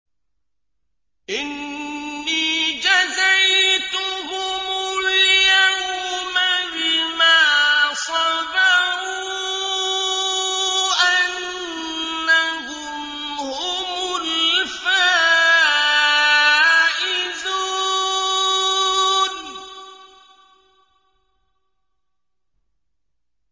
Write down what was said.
إِنِّي جَزَيْتُهُمُ الْيَوْمَ بِمَا صَبَرُوا أَنَّهُمْ هُمُ الْفَائِزُونَ